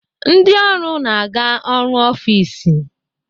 Ndị ọrụ na-aga ọrụ n'ọfis.